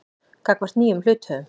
gagnvart nýjum hluthöfum.